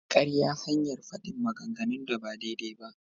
Ƙarya hanyar faɗin maganganun da ba daidai ba.